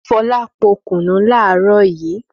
Fọlá po kùnú láàárọ̀ yìí.